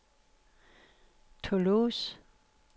Toulouse